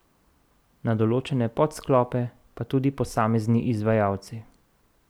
Na določene podsklope pa tudi posamezni izvajalci.